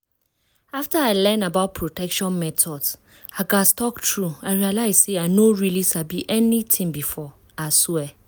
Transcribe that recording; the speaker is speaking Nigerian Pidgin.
after i learn about protection methods i gatz talk true i realize say i no really sabi anything before i swear